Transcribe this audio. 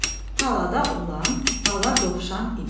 Talada olan bala dovşan idi.